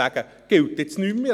«Das gilt jetzt nicht mehr.